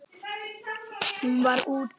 Hún var: úti.